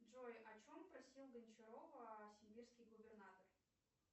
джой о чем просил гончарова сибирский губернатор